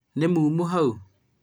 nĩ muumu hau?